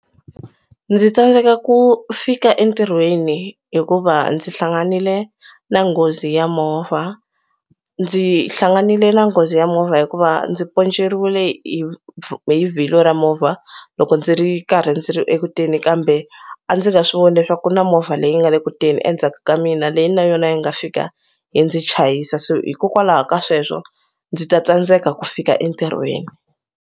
Ndzi tsandzeka ku fika entirhweni hikuva ndzi hlanganile na nghozi ya movha ndzi hlanganile na nghozi ya movha hikuva ndzi ponceriwile hi vhilwa ra movha loko ndzi ri karhi ndzi ri eku teni kambe a ndzi nga swi voni leswaku ku na movha leyi nga le ku teni endzhaku ka mina leyi na yona yi nga fika yi ndzi chayisa so hikokwalaho ka sweswo ndzi ta tsandzeka ku fika entirhweni.